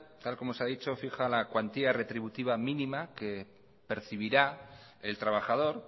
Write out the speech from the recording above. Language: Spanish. tal y como se ha dicho fija la cuantía retributiva mínima que percibirá el trabajador